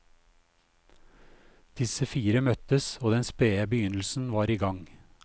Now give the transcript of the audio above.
Disse fire møttes og den spede begynnelsen var i gang.